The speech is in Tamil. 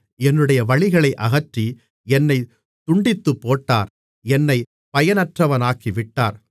என்னுடைய வழிகளை அகற்றி என்னைத் துண்டித்துப்போட்டார் என்னைப் பயனற்றவனாக்கிவிட்டார்